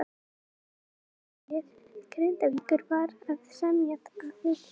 Kvennalið Grindavíkur var að semja við þrjá leikmenn.